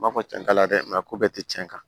N b'a fɔ cɛntala dɛ mɛ ko bɛɛ te cɛn kan